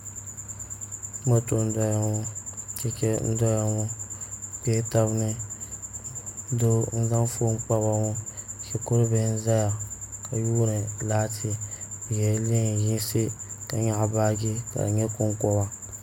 Moto n doya ŋo chɛchɛ n doya ŋo bi kpɛla tabi ni doo n zaŋ foon kpaba ŋo shikuru bihi n ʒɛya ka yuundi laati bi yɛla neen yinsi ka nyaɣa baaji ka di nyɛ konkoba